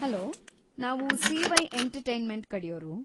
Hello, ನಾವು C Y. Entertainment ಕಡೆಯೋರು.